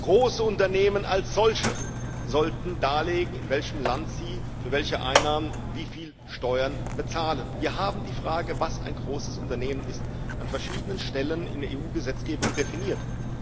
Große Unternehmen als solche sollten darlegen, in welchem Land sie für welche Einnahmen wie viel Steuern bezahlen. Wir haben die Frage, was ein großes Unternehmen ist, an verschiedenen Stellen in der EU Gesetzgebung definiert.